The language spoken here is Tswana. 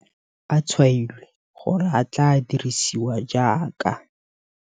A tshwailwe gore a tla dirisiwa jaaka.